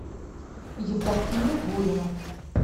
евдокия гурина